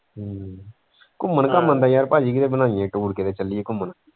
ਹਮ ਘੁੰਮਣ ਘਾਮਣ ਦਾ ਯਾਰ ਪਾਜੀ ਕਿਤੇ ਬਣਾਈਏ tour ਕਿਤੇ ਚੱਲੀਏ ਘੁੰਮਣ।